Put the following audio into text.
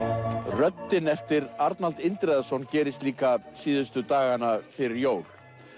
röddin eftir Arnald Indriðason gerist líka síðustu dagana fyrir jól